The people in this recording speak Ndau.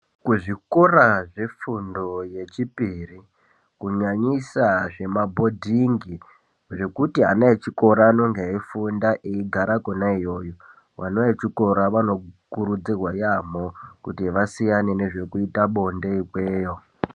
Kuzvikora zvefundo yechipiri kunyanyisa zvemabhodhingi zvekuti ana echikora anenge eifunda eigara konaiyoyo vana vechikora vanokurudzirwa yamho kuti vasiyana nezvekuita bonde ikweyo.